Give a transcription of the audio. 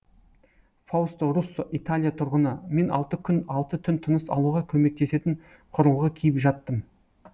фаусто руссо италия тұрғыны мен алты күн алты түн тыныс алуға көмектесетін құрылғы киіп жаттым